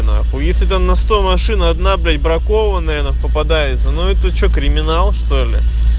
нахуй если там на сто машин одна блять бракованная на попадается ну это что криминал что ли